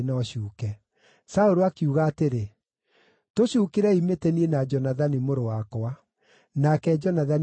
Saũlũ akiuga atĩrĩ, “Tũcuukĩrei mĩtĩ niĩ na Jonathani, mũrũ wakwa.” Nake Jonathani akĩgwĩrwo nĩ mũtĩ.